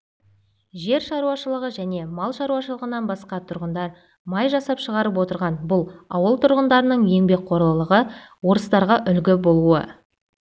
жер шаруашылығы және мал шаруашылығынан басқа тұрғындар май жасап шығарып отырған бұл ауыл тұрғындарының еңбекқорлығы орыстарға үлгі болуы